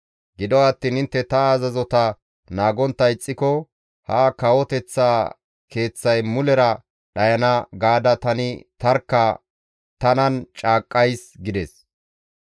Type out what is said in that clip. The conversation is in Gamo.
Gido attiin intte ta azazota naagontta ixxiko, ‹Ha kawoteththa keeththay mulera dhayana› gaada tani tarkka tanan caaqqays» gides.